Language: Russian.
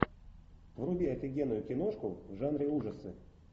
вруби офигенную киношку в жанре ужасы